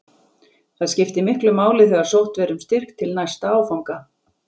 Það skipti miklu máli þegar sótt verði um styrk til næsta áfanga.